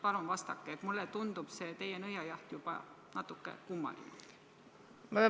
Palun vastake, mulle tundub see teie nõiajaht juba natuke kummaline.